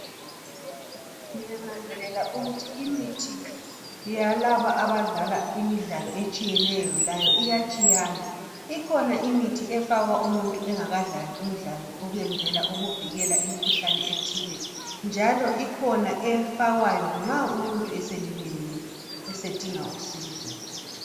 Ngiyananzelela ukuthi imithi yalaba abadlala imidlalo etshiyeneyo layo iyatshiyana. Ikhona imithi efakwa umuthi engakadlali umdlalo ukwenzela ukuvikela imikhuhlane ethile njalo ikhona efakwayo nxa umuntu eselilmele esedinga usizo